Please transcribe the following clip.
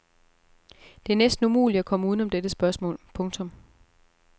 Det er næsten umuligt at komme udenom dette spørgsmål. punktum